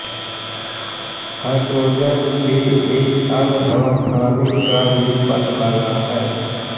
hydrogen के एक अन्य समस्थानिक का भी पत लगा है